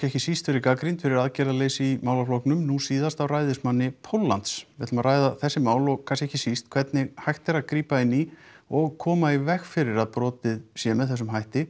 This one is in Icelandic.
ekki síst verið gagnrýnd fyrir aðgerðarleysi í málaflokknum nú síðast af ræðismanni Póllands við ætlum að ræða þessi mál og kannski ekki síst hvernig hægt sé að grípa inn í og koma í veg fyrir að brotið sé með þessum hætti